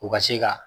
U ka se ka